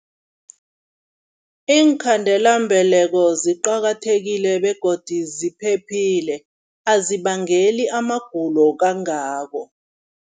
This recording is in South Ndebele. Iinkhandelambeleko ziqakathekile begodu ziphephile, azibangeli amagulo kangako.